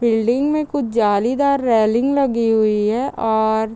building में कुछ जालीदार रेलिंग लगी हुई है और --